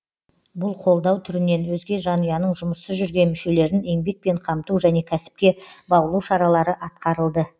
бұл қолдау түрінен өзге жанұяның жұмыссыз жүрген мүшелерін еңбекпен қамту және кәсіпке баулу шаралары атқарылды